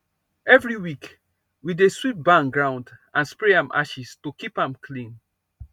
every week we dey sweep barn ground and spray am ashes to keep am clean